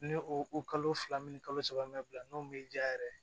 Ni o kalo fila ni kalo saba n'o m'i diya yɛrɛ